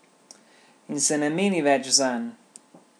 In se ne meni več zanj.